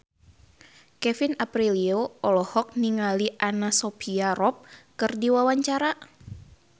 Kevin Aprilio olohok ningali Anna Sophia Robb keur diwawancara